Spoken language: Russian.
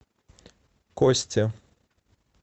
кости